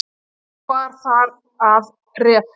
Þá bar þar að ref.